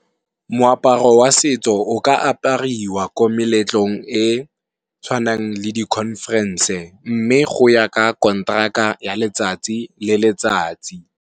Moaparo wa setso o ka apariwa ko meletlong e tshwanang le di conference-e mme go ya ka kontraka ya letsatsi le letsatsi.